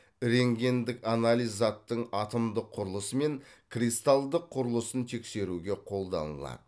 рентгендік анализ заттың атомдыңқ құрылысы мен кристалдық құрылысын тексеруге қолданылады